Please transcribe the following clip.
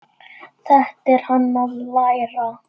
Þetta er hann að læra!